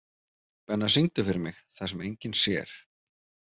Benna, syngdu fyrir mig „Það sem enginn sér“.